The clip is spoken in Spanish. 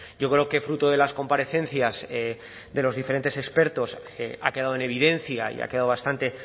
yo creo que fruto de las comparecencias de los diferentes expertos ha quedado en evidencia y ha quedado bastante